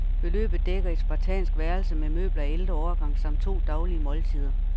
Beløbet dækker et spartansk værelse med møbler af ældre årgang samt to daglige måltider.